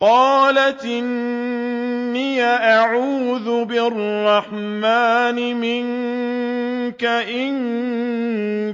قَالَتْ إِنِّي أَعُوذُ بِالرَّحْمَٰنِ مِنكَ إِن